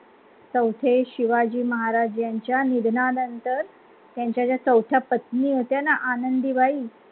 चौथे शिवाजी महाराज यांच्या निधनानंतर त्यांच्या ज्या चौथ्या पत्नी होत्या ना आनंदीबाई